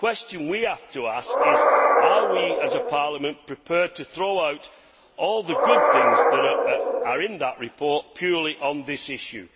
but the question we have to ask is are we as a Parliament prepared to throw out all the good things that are in that report purely on this issue?